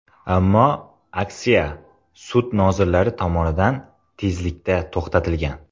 Ammo aksiya sud nozirlari tomonidan tezlikda to‘xtatilgan.